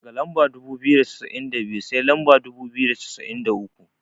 Daga lamba dubu biyu da cassa'in da biyu, sai lamba dubu biyu da cassa'in da uku.